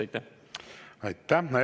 Aitäh!